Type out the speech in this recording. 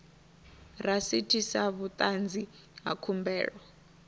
rasiti sa vhuṱanzi ha khumbelo